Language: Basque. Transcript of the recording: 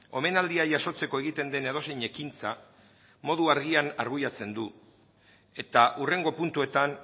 omenaldia jasotzeko egiten den edozein ekintza modu argian arbuiatzen du eta hurrengo puntuetan